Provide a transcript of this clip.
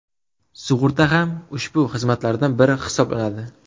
Sug‘urta ham ushbu xizmatlardan biri hisoblanadi.